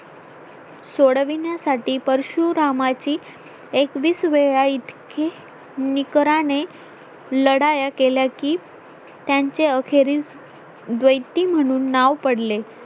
सोडविण्यासाठी परशुरामाची एकवीसवेळा इतकी निकऱ्याने लढाया केला की त्यांचे अखेरीस दयेत्वि म्हणून नाव पडले